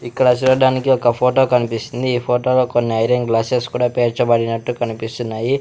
ఇక్కడ చూడ్డానికి ఒక ఫోటో కనిపిస్తుంది ఈ ఫోటోలో కొన్ని ఐరన్ గ్లాస్సెస్ కూడా పేర్చబడినట్టు కనిపిస్తున్నాయి.